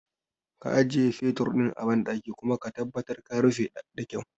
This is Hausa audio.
Ka ajiye fetur ɗin a banɗaki kuma ka tabbatar ka rufe da kyau